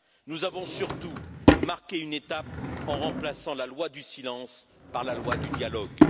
Nous avons surtout marqué une étape en remplaçant la loi du silence par la loi du dialogue.